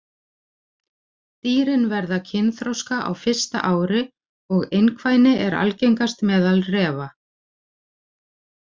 Dýrin verða kynþroska á fyrsta ári og einkvæni er algengast meðal refa.